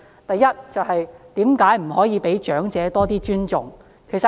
第一，為何不可以對長者多一點尊重？